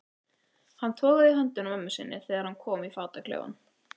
Hann togaði í höndina á mömmu sinni þegar hann kom í fataklefann.